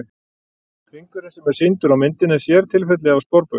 Hringurinn sem er sýndur á myndinni er sértilfelli af sporbaug.